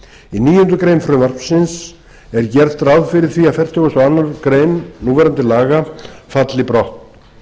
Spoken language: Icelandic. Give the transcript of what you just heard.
í níundu grein frumvarpsins er gert ráð fyrir því að fertugasta og aðra grein núverandi laga falli brott